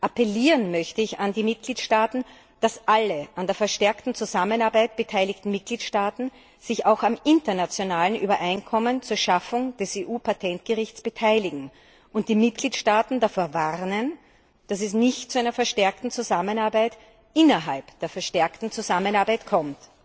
Appellieren möchte ich an die Mitgliedstaaten, dass alle an der verstärkten Zusammenarbeit beteiligten Mitgliedstaaten sich auch am internationalen Übereinkommen zur Schaffung des EU Patentgerichts beteiligen, und ich möchte die Mitgliedstaaten davor warnen, dass es nicht zu einer verstärkten Zusammenarbeit innerhalb der verstärkten Zusammenarbeit kommt.